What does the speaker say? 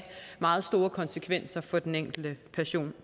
meget store konsekvenser for den enkelte